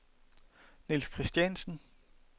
Nils Kristiansen